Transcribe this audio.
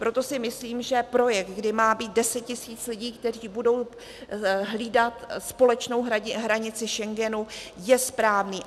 Proto si myslím, že projekt, kde má být 10 tisíc lidí, kteří budou hlídat společnou hranici Schengenu, je správný.